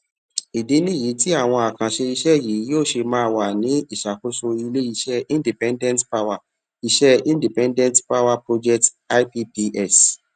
ìdí nìyí tí àwọn àkànṣe iṣé yìí yóò ṣe máa wà ní ìsàkóso ilé iṣé independent power iṣé independent power projects ipps